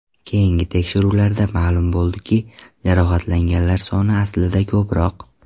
Keyingi tekshiruvlarda ma’lum bo‘ldiki, jarohatlanganlar soni aslida ko‘proq.